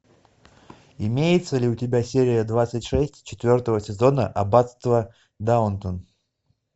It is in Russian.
имеется ли у тебя серия двадцать шесть четвертого сезона аббатство даунтон